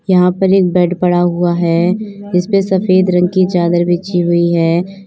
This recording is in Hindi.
यहां पर एक बेड पड़ा हुआ है। जिस पे सफेद रंग की चादर बिछी हुई है।